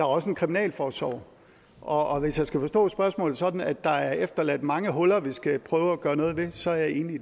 også en kriminalforsorg og hvis jeg skal forstå spørgsmålet sådan at der er efterladt mange huller vi skal prøve at gøre noget ved så er jeg enig